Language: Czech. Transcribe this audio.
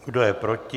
Kdo je proti?